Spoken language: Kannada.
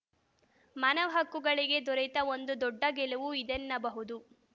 ಮಾನವ ಹಕ್ಕುಗಳಿಗೆ ದೊರೆತ ಒಂದು ದೊಡ್ಡ ಗೆಲುವು ಇದೆನ್ನಬಹುದು